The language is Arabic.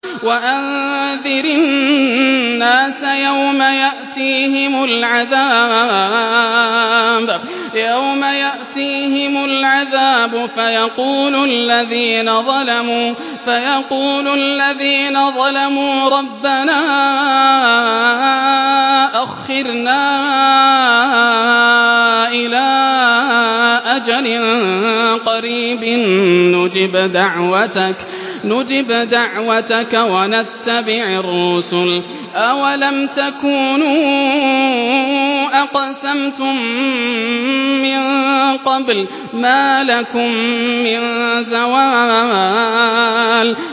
وَأَنذِرِ النَّاسَ يَوْمَ يَأْتِيهِمُ الْعَذَابُ فَيَقُولُ الَّذِينَ ظَلَمُوا رَبَّنَا أَخِّرْنَا إِلَىٰ أَجَلٍ قَرِيبٍ نُّجِبْ دَعْوَتَكَ وَنَتَّبِعِ الرُّسُلَ ۗ أَوَلَمْ تَكُونُوا أَقْسَمْتُم مِّن قَبْلُ مَا لَكُم مِّن زَوَالٍ